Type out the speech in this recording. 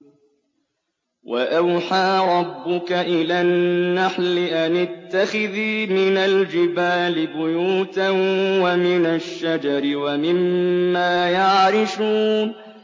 وَأَوْحَىٰ رَبُّكَ إِلَى النَّحْلِ أَنِ اتَّخِذِي مِنَ الْجِبَالِ بُيُوتًا وَمِنَ الشَّجَرِ وَمِمَّا يَعْرِشُونَ